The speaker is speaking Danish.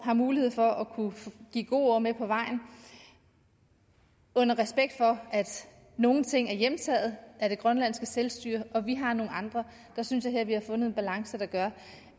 har mulighed for at kunne give gode ord med på vejen med respekt for at nogle ting er hjemtaget af det grønlandske selvstyre og at vi har nogle andre der synes jeg at vi her har fundet en balance der gør